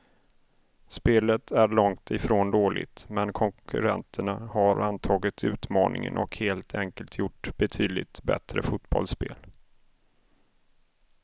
Spelet är långt ifrån dåligt, men konkurrenterna har antagit utmaningen och helt enkelt gjort betydligt bättre fotbollsspel.